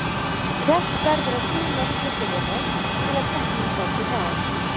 Keppt verður á þrjú mörk til að byrja með til að keppnin gangi hraðar.